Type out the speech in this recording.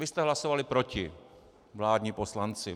Vy jste hlasovali proti, vládní poslanci.